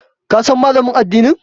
Ka san Malamin addinin?